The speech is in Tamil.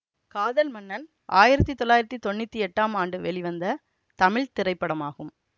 காதல் மன்னன் ஆயிரத்தி தொள்ளாயிரத்தி தொன்னூத்தி எட்டாம் ஆண்டு வெளிவந்த தமிழ் திரைப்படமாகும்